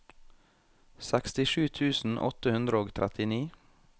sekstisju tusen åtte hundre og trettini